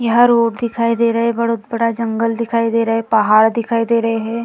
यहाँ रोड दिखाई दे रहा है | बहुत बड़ा जंगल दिखाई दे रहा है | पहाड़ दिखाई दे रहे हैं।